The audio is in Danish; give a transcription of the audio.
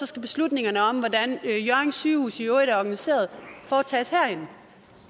skal beslutningerne om hvordan hjørring sygehus i øvrigt skal organiseres tages herinde